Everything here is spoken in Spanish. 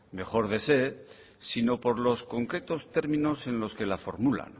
mejor desee sino por los concretos términos en los que la formula